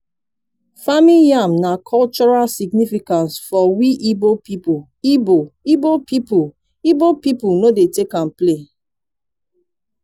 farming yam na cultural significance for we igbo pipo igbo igbo pipo igbo pipo no dey take yam play